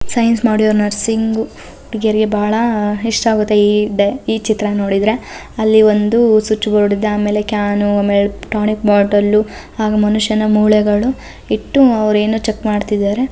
Science module ನ ಸಿಂಗು ಹುಡ್ಗೆರ್ಗೆ ಬಾಳ ಇಷ್ಟ ಆಗತ್ತೆ ಈ ಡ ಈ ಚಿತ್ರ ನೋಡಿದ್ರೆ ಅಲ್ಲಿ ಒಂದು ಸ್ವಿಚ್ ಬೋರ್ಡ್ ಇದೆ ಆಮೇಲೆ ಕ್ಯಾನು ಆಮೇಲೆ ಟಾನಿಕ್ ಬೊಟ್ಟಲ್ಲು ಹಾಗು ಮನುಷ್ಯನ ಮೂಳೆಗಳು ಇಟ್ಟು ಅವ್ರ್ ಏನೋ ಚೆಕ್ ಮಾಡ್ತಿದಾರೆ.